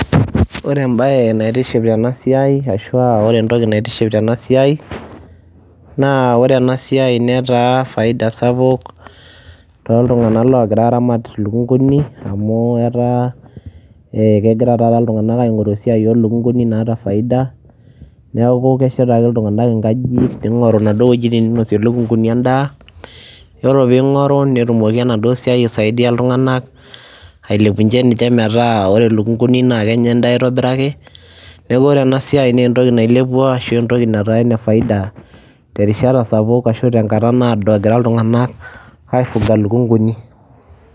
Ore embaye naitiship tena siai ashu a ore entoki naitiship tena siai naa ore ena siai netaa faida sapuk tooltung'anak loogira aaramat lukung'uni amu etaa ee kegira taata iltung'anaka aing'oru esiai oo lukung'uni naata faida, neeku keshet ake iltung'anak inkajijik ning'oru naduo wuejitin ninosie lukung'uni endaa, yiolo piing'oru netumoki enaduo siai aisadia iltung'anak ailepunye ninje metaa ore lukung'uni naake enya endaa aitobiraki. Neeku ore ena siai nee entoki nailepua ashu entoki nataa ene faida terishata sapuk ashu tenkata naado egira iltung'anak aifuga lukung'uni.